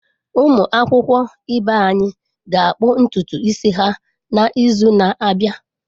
Ụmụ akwụkwọ ibe anyị ga-akpụ ntutu isi ha n’izu na-abịa.